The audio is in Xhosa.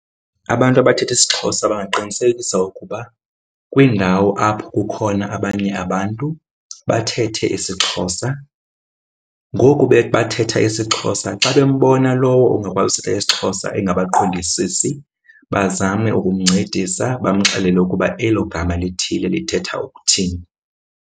Abantu abathetha isiXhosa bangaqinisekisa ukuba kwiindawo apho kukhona abanye abantu bathethe isiXhosa. Ngoku bathetha isiXhosa, xa bembona lowo ungakwazi uthetha isiXhosa engabaqondisisi, bazame ukumncedisa, bamxelele ukuba elo gama lithile lithetha ukuthini.